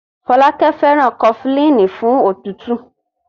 Fọlákẹ́ fẹ́ràn Kọfulíìnì fún òtútù.